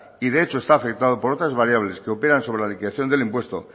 y de hecho está afectado por otras variables que operan sobre la liquidación del impuesto